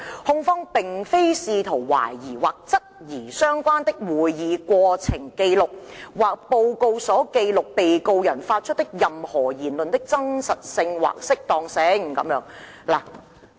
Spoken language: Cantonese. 控方並非試圖懷疑或質疑相關的會議過程紀錄或報告所記錄被告人發出的任何言論的真實性或適當性。